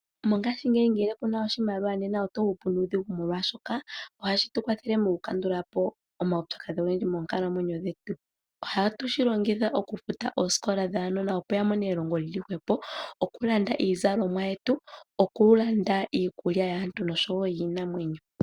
Mongashingeyi ngele kuna oshimaliwa nena oto hupu nuudhigu molwaashoka ohashi tu kwathele mokukandukapo omaupyakadhi ogendji moonkalamwenyo dhetu . Ohatu shi longitha okufuta oosikola dhaanona opo yamone elongo lyili hwepo, okulanda iizalomwa yetu noshowoo okulanda iikulya yaantu noyiinamwenyo.